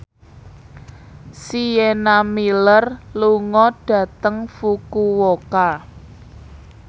Sienna Miller lunga dhateng Fukuoka